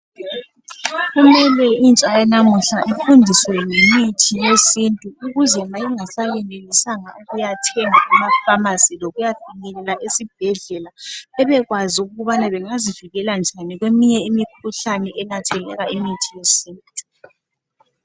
Kumele intsha yanamuhla ifundiswe ngemithi yesintu. Ukuze ma ingasayenelisanga ukuyathenga emafamasi lokuyafinyelela esibhedlela. Bebekwazi ukubana bengazivikela njani kweminye imikhuhlane enatheleka imithi yesintu.